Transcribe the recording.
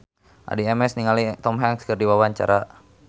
Addie MS olohok ningali Tom Hanks keur diwawancara